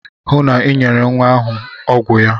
Hụụ na Ị nyere nwa ahụ ọgwụ ya!